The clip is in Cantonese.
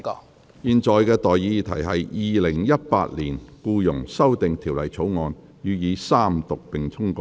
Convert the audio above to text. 我現在向各位提出的待議議題是：《2018年僱傭條例草案》予以三讀並通過。